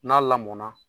N'a lamɔna